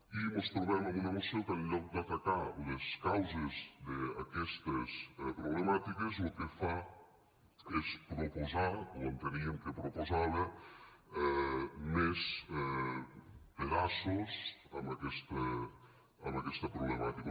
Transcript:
i mos trobem amb una moció que en lloc d’atacar les causes d’aquestes problemàtiques lo que fa és proposar o enteníem que proposava més pedaços a aquesta problemàtica